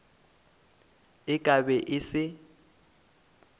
e ka be e se